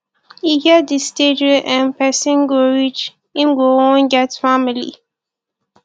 e get di stage wey um person go reach im go wan get family